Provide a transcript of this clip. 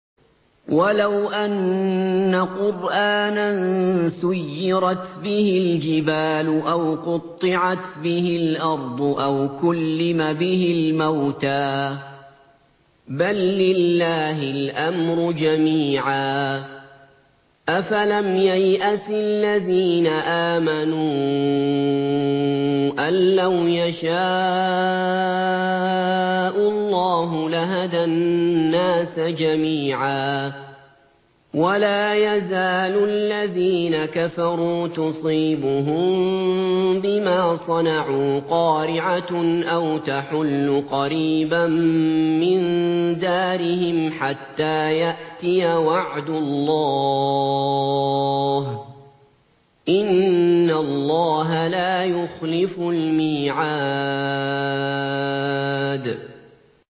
وَلَوْ أَنَّ قُرْآنًا سُيِّرَتْ بِهِ الْجِبَالُ أَوْ قُطِّعَتْ بِهِ الْأَرْضُ أَوْ كُلِّمَ بِهِ الْمَوْتَىٰ ۗ بَل لِّلَّهِ الْأَمْرُ جَمِيعًا ۗ أَفَلَمْ يَيْأَسِ الَّذِينَ آمَنُوا أَن لَّوْ يَشَاءُ اللَّهُ لَهَدَى النَّاسَ جَمِيعًا ۗ وَلَا يَزَالُ الَّذِينَ كَفَرُوا تُصِيبُهُم بِمَا صَنَعُوا قَارِعَةٌ أَوْ تَحُلُّ قَرِيبًا مِّن دَارِهِمْ حَتَّىٰ يَأْتِيَ وَعْدُ اللَّهِ ۚ إِنَّ اللَّهَ لَا يُخْلِفُ الْمِيعَادَ